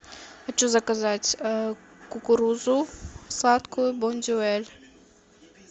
хочу заказать кукурузу сладкую бондюэль